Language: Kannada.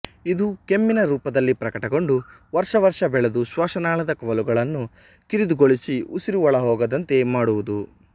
ಇದು ಕೆಮ್ಮಿನ ರೂಪದಲ್ಲಿ ಪ್ರಕಟಗೊಂಡು ವರ್ಷ ವರ್ಷ ಬೆಳೆದು ಶ್ವಾಸನಾಳದ ಕವಲುಗಳನ್ನು ಕಿರಿದುಗೊಳಿಸಿ ಉಸಿರು ಒಳಹೋಗದಂತೆ ಮಾಡುವುದು